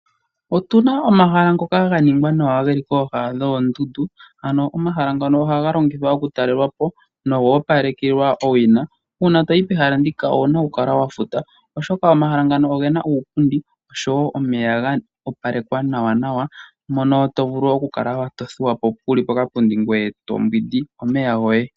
Otuna omahala ngoka ga ningwa nawa geli kooha dhoondundu , ano omahala ngano ohaga longithwa oku talelwa po noga opalekelwa owina . Uuna toyi pehala ndika , ouna oku kala wa futa oshoka omahala ngano ogena uupundi osho woo omeya ga opalekwa nawa nawa mono to vulu oku kala to thuwa po wuli pokapundi ngweye to mbwindi omeya goye .